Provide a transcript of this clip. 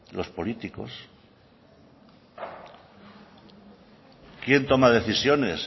los políticos quién toma decisiones